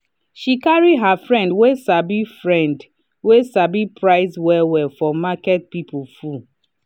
she carry her friend wey sabi friend wey sabi price well-well for market people full.